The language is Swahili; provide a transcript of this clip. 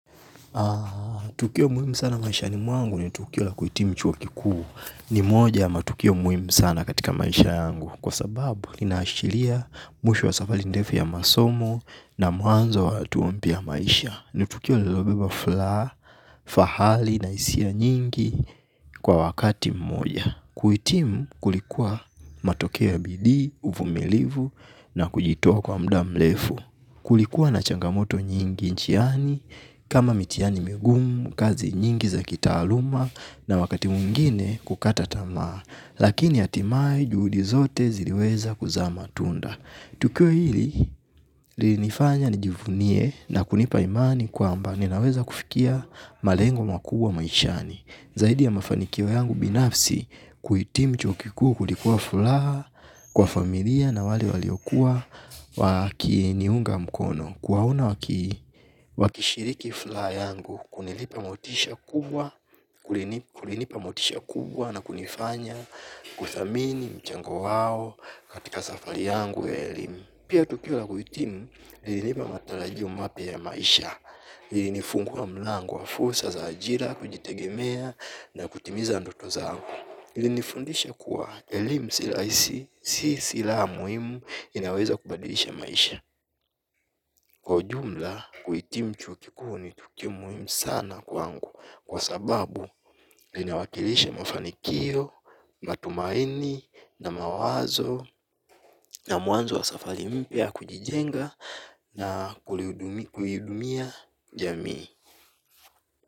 Tukio muhimu sana maishani mwangu ni tukio la kuhitimu chuo kikuu ni moja ya matukio muhimu sana katika maisha yangu kwa sababu inaashiria mwisho wa safari ndefu ya masomo na mwanzo wa hatua mpya ya maisha. Ni tukio iliyobeba furaha fahali na hisia nyingi kwa wakati mmoja. Kuhitimu kulikuwa matokeo ya bidii, uvumilivu na kujitoa kwa muda mrefu. Kulikuwa na changamoto nyingi njiani, kama mitihani migumu, kazi nyingi za kitaaluma na wakati mwingine kukata tamaa. Lakini hatimaye juhudi zote ziliweza kuzaa matunda. Tukio hili, lilinifanya nijivunie na kunipa imani kwamba ninaweza kufikia malengo makubwa maishani. Zaidi ya mafanikio yangu binafsi kuhitimu chuokikuu kulikuwa furaha kwa familia na wale waliokuwa wakiniunga mkono. Kuwaona wakishiriki furaha yangu kunilipa motisha kubwa na kunifanya kuthamini mchango wao katika safari yangu ya elimu. Pia tukio la kuhitimu lilinipa matarajio mapya ya maisha, lilinifungua mlango wa fursa za ajira, kujitegemea na kutimiza ndoto zangu. Ilinifundisha kuwa elimu si silaha muhimu inaweza kubadilisha maisha. Kwa ujumla kuhitimu chuo kikuu ni tukio muhimu sana kwangu kwa sababu linawakilisha mafanikio, matumaini na mawazo na mwanzo wa safari mpya ya kujijenga na kulihudumia jamii.